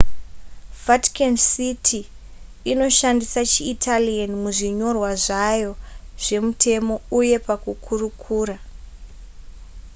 vatican city inoshandisa chiitalian muzvinyorwa zvayo zvemutemo uyee pakukurukura